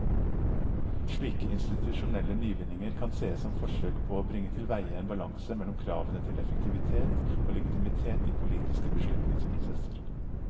Slike institusjonelle nyvinninger kan sees som forsøk på å bringe tilveie en balanse mellom kravene til effektivitet og legitimitet i politiske beslutningsprosesser.